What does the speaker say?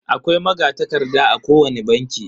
Akwai magatakarda a kowani banki.